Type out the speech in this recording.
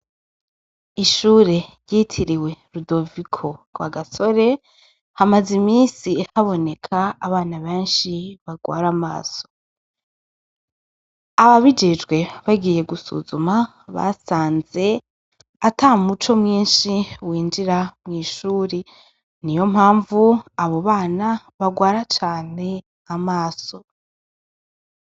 Ishure ryitiriwe rudoviko Rwagasore hamaze imisi haboneka abana benshi barwara amaso, ababijijwe bagiye gusuzuma basanze ata muco mwinshi winjira mw'ishuri niyo mpamvu abo bana barwara cane amaso.